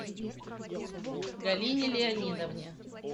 галине леонидовне